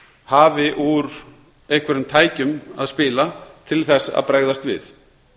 hafi úr einhverjum tækjum að spila til að bregðast við